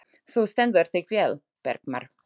Þú stendur þig vel, Bergmar!